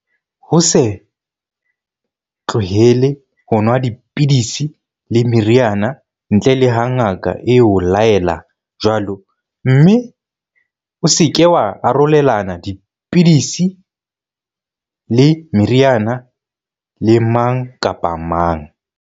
Ho se tlohele ho nwa di-pidisi le meriana, ntle le ha ngaka e o laela jwalo, mme o se ke wa arolelana dipidi-si le meriana le mang kapa mang.